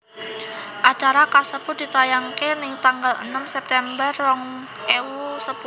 Acara kasebut ditayangaké ning tanggal enem September rong ewu sepuluh